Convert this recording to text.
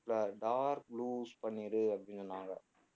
இல்ல dark blues பண்ணிரு அப்படின்னாங்க